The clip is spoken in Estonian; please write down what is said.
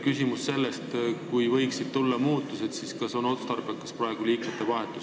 Küsimus on selles, et kui võivad tulla muutused, siis kas praegu on liikmete vahetus otstarbekas.